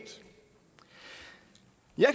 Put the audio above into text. jeg